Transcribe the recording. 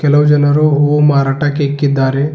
ಹಲವು ಜನರು ಹೂವು ಮಾರಾಟಕ್ಕೆ ಇಕ್ಕಿದ್ದಾರೆ.